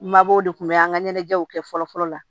Mabɔw de kun bɛ an ka ɲɛnajɛw kɛ fɔlɔ fɔlɔ la